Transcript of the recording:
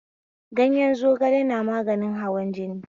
Ganyen zogala na maganin hawan jini